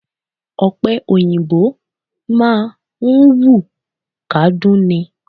Ọ̀pẹ òyìnbó máà ń wù kádún ni.